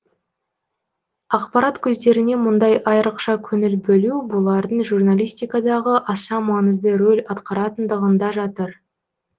ақпарат көздеріне мұндай айырықша көңіл бөлу бұлардың журналистикадағы аса маңызды рөл атқаратындығында жатыр